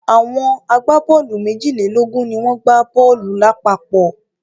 Àwọn agbá-bọ́ọ́lù méjìlélógún ni wọ́n gbá bọ́ọ́lù lápapọ̀.